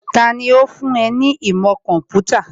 Tani ó fún ẹ ní ìmọ̀ kọ̀ḿpútà?